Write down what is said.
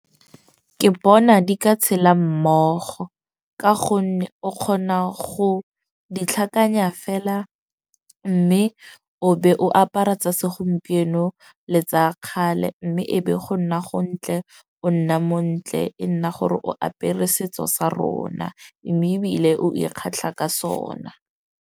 Ke bona di ka tshela mmogo. Ka gonne o kgona go di tlhakanya fela. Mme o be o apara tsa segompieno le tsa kgale. Mme e be go nna go ntle, o nna montle e nna gore o apere setso sa rona. Mme ebile o ikgatlha ka sona.